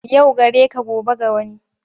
Yau gareka gobe ga wani,